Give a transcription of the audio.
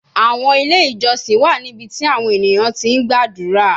Awọn ile ijọsin wa nibiti awọn eniyan ti gbadura